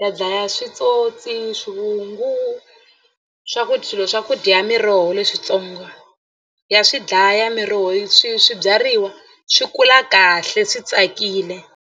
ya dlaya switsotsi, swivungu swakudya swilo swa ku dya ya miroho leswitsongo ya swi dlaya miroho swi swibyariwa swi kula kahle swi tsakile.